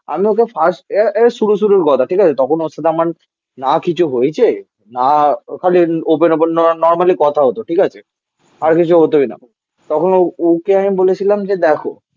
ওকে first year এই শুরু শুরু শুরুর কথা ঠিক আছে তখন ওর সাথে আমার না কিছু হয়েছে? না ওখানে ওপেন ওপেন নরমালি কথা হতো ঠিক আছে? আর কিছু হতোই না তখন ওকে আমি বলেছিলাম যে দেখো